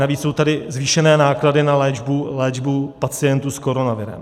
Navíc jsou tady zvýšené náklady na léčbu pacientů s koronavirem.